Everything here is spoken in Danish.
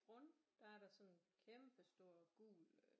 Brund der er der sådan en kæmpestor gul øh